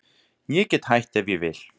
Ég get hætt ef ég vil.